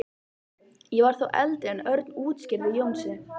Ég var þó eldri en Örn útskýrði Jónsi.